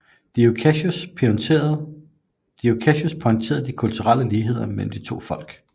Dio Cassius pointerede de kulturelle ligheder mellem de to folk